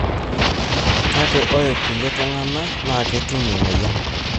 kake ore kulie tungana na ketum emoyian.